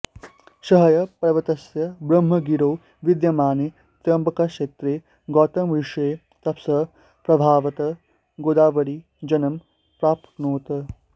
सह्यपर्वतस्य ब्रह्मगिरौ विद्यमाने त्र्यम्बकक्षेत्रे गौतमऋषेः तपसः प्रभावात् गोदावरी जन्म प्राप्नोत्